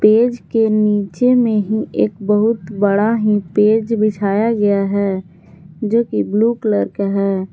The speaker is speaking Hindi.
पेज के नीचे में ही एक बहुत बड़ा ही पेज बिछाया गया है जोकि ब्लू कलर का है।